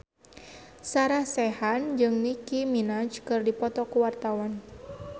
Sarah Sechan jeung Nicky Minaj keur dipoto ku wartawan